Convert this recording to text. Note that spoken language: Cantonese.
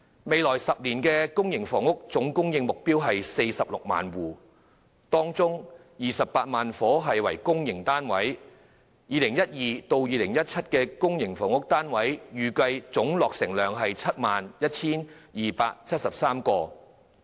未來10年，公私營房屋的目標總供應量為 460,000 個單位，當中有 280,000 個單位是公營房屋，而2012年至2017年的公營房屋單位的預計總落成量為 71,273 個。